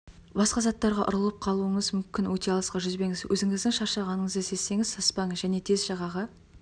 басқа заттарға ұрылып қалуыңыз мүмкін өте алысқа жүзбеңіз өзіңіздің шаршағаныңызды сезсеңіз саспаңыз және тез жағаға